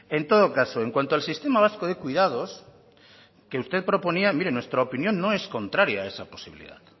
en todo caso en cuanto al sistema vasco de cuidados que usted proponía mire nuestra opinión no es contraria a esa posibilidad